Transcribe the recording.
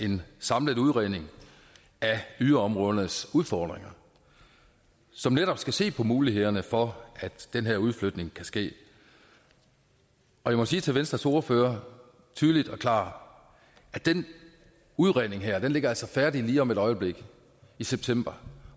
en samlet udredning af byområdernes udfordringer som netop skal se på mulighederne for at den her udflytning kan ske jeg må sige til venstres ordfører tydeligt og klart at den udredning her altså ligger færdig lige om et øjeblik i september